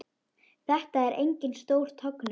Þetta er engin stór tognun.